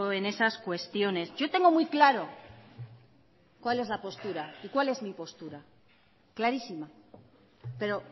en esas cuestiones yo tengo muy claro cuál es la postura y cuál es mi postura clarísima pero